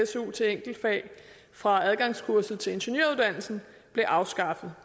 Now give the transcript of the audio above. su til enkeltfag for adgangskurset til ingeniøruddannelsen blev afskaffet